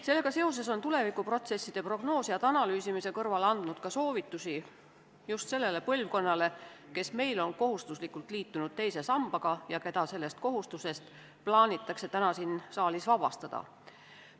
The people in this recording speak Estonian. Sellega seoses on tulevikuprotsesside prognoosijad analüüsimise kõrval andnud ka soovitusi just sellele põlvkonnale, kes meil on kohustuslikult liitunud teise sambaga ja keda sellest kohustusest plaanitakse täna siin saalis vabastada.